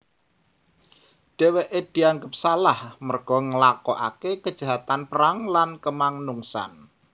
Dheweke dianggep salah merga nglakokake kejahatan perang lan kamanungsan